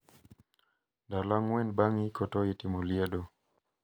Ndalo ang`wen bang` iko to itimo liedo.